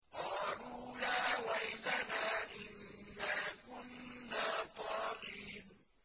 قَالُوا يَا وَيْلَنَا إِنَّا كُنَّا طَاغِينَ